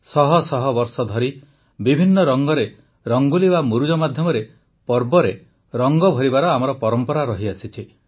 ଶହ ଶହ ବର୍ଷ ଧରି ବିଭିନ୍ନ ରଙ୍ଗରେ ରଙ୍ଗୋଲି ବା ମୁରୁଜ ମାଧ୍ୟମରେ ପର୍ବରେ ରଙ୍ଗ ଭରିବାର ଆମର ପରମ୍ପରା ରହିଛି